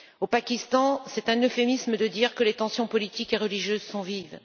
Au Pakistan, c'est un euphémisme de dire que les tensions politiques et religieuses sont vives.